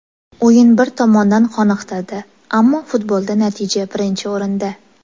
O‘yin bir tomondan qoniqtirdi, ammo futbolda natija birinchi o‘rinda.